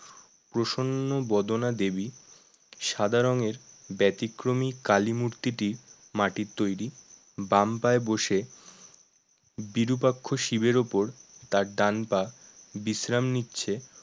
প্রসন্ন বদনা দেবী সাদা রঙের ব্যতিক্রমী কালীমূর্তিটি মাটির তৈরি বাম পায়ে বসে বিরূপাক্ষ শিবের উপর তার ডান পা বিশ্রাম নিচ্ছে